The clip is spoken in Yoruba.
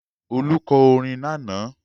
Olú kọ orin lánàá.